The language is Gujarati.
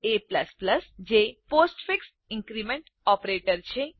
a જે પોસ્ટફિક્સ ઇન્ક્રીમેન્ટ ઓપરેટર છે